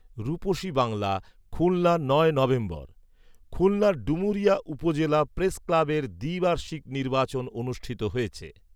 রুপসী বাংলা, খুলনা নয় নভেম্বর, খুলনার ডুমুরিয়া উপজেলা প্রেস ক্লাবের দ্বি বার্ষিক নির্বাচন অনুষ্ঠিত হয়েছে